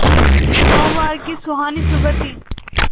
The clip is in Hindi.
सोमवार की सुहानी सुबह थी